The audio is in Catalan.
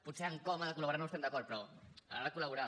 potser en com ha de col·laborar no hi estem d’acord però ha de col·laborar